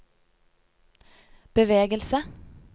bevegelse